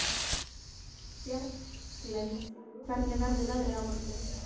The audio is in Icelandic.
Bjarglind, hvernig verður veðrið á morgun?